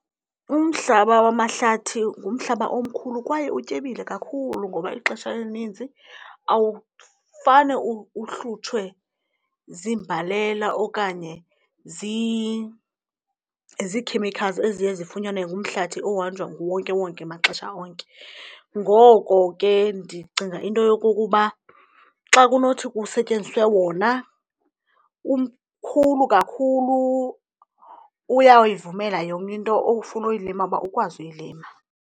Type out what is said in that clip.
Umhlaba wamahlathi ngumhlaba omkhulu kwaye utyebile kakhulu ngoba ixesha elininzi awufane uhlutshwe ziimbalela okanye zii-chemicals eziye zifunyanwe ngumhlathi ohanjwa nguwonkewonke maxesha onke. Ngoko ke ndicinga into yokokuba xa kunothi kusetyenziswe wona umkhulu kakhulu uyawuyivumela yonke into ofuna uyilima uba ukwazi uyilima.